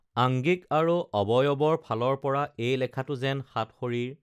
আংগিক আৰু অৱয়বৰ ফালৰপৰা এই লেখাটো যেন সাতসৰীৰ